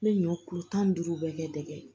N bɛ ɲɔ kulo tan ni duuru bɛɛ kɛ dɛgɛ